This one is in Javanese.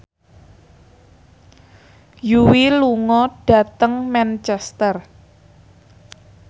Yui lunga dhateng Manchester